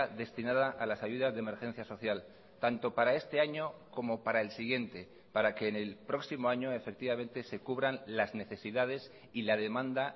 destinada a las ayudas de emergencia social tanto para este año como para el siguiente para que en el próximo año efectivamente se cubran las necesidades y la demanda